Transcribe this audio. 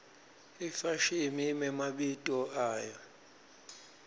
ifashimi imemabito ayo